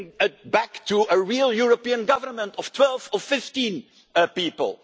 bring it back to a real European government of 12 or 15 people.